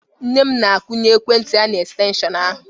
Nne m na-akwunye ekwentị ya n'estenshịon ahụ.